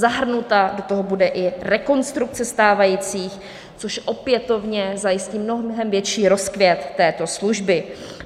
Zahrnuta do toho bude i rekonstrukce stávajících, což opětovně zajistí mnohem větší rozkvět této služby.